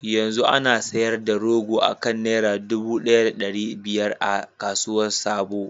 Yanzu ana sayar da rogo akan naira dubu daya da dari biyar a kasuwar sabo.